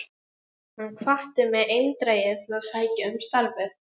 Hann hvatti mig eindregið til að sækja um starfið.